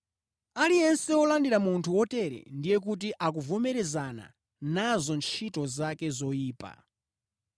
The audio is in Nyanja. Aliyense wolandira munthu wotere ndiye kuti akuvomerezana nazo ntchito zake zoyipa.